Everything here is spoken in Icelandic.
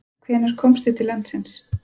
Hvenær komstu til landsins?